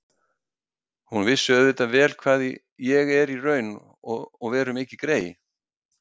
Hún vissi auðvitað vel hvað ég er í raun og veru mikið grey.